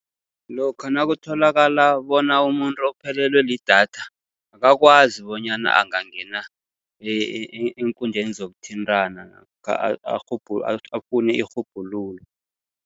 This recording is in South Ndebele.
Lokha nakutholakala bona umuntu uphelelwe lidatha, akakwazi bonyana angangena eenkundleni zokuthintana namkha afune irhubhululo.